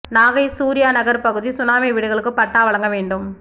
நாகை சூர்யா நகர் பகுதி சுனாமி வீடுகளுக்கு பட்டா வழங்க வேண்டும்